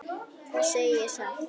Það segi ég satt.